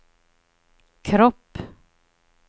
kropp